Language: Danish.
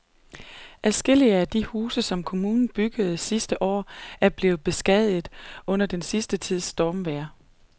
Adskillige af de huse, som kommunen byggede sidste år, er blevet beskadiget under den sidste tids stormvejr.